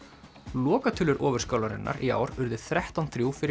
lokatölur Ofurskálarinnar í ár urðu þrettán til þrjú fyrir